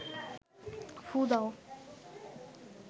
ফুঁ দাও